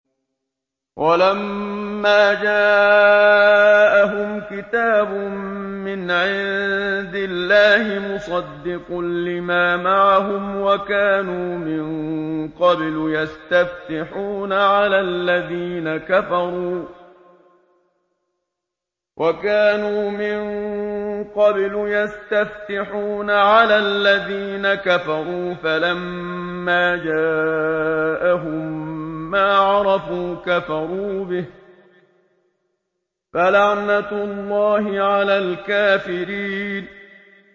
وَلَمَّا جَاءَهُمْ كِتَابٌ مِّنْ عِندِ اللَّهِ مُصَدِّقٌ لِّمَا مَعَهُمْ وَكَانُوا مِن قَبْلُ يَسْتَفْتِحُونَ عَلَى الَّذِينَ كَفَرُوا فَلَمَّا جَاءَهُم مَّا عَرَفُوا كَفَرُوا بِهِ ۚ فَلَعْنَةُ اللَّهِ عَلَى الْكَافِرِينَ